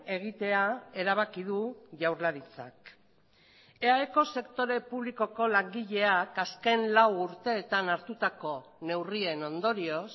egitea erabaki du jaurlaritzak eaeko sektore publikoko langileak azken lau urteetan hartutako neurrien ondorioz